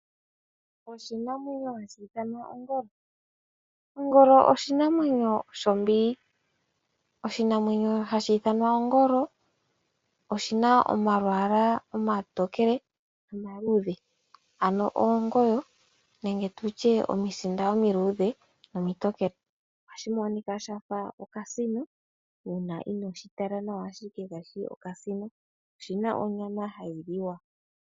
Oshinamwenyo hashi ithanwa ongolo, Oshinamwenyo shombili. Oshinamwenyo hashi ithanwa ongolo oshina omalwaala omatookele nomaluudhe ano oongoyo nenge tutye omisinda omiluudhe nomitokele. Ohashi monika shafa okasino uuna inooshitala nawa ashike kayishi okasino. Oshina onyama hài liwa.